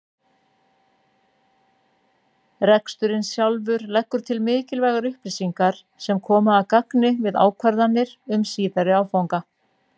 Reksturinn sjálfur leggur til mikilvægar upplýsingar sem koma að gagni við ákvarðanir um síðari áfanga.